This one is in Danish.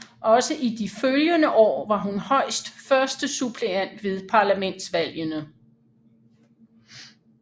Også i de følgende år var hun højst førstesuppleant ved parlamentsvalgene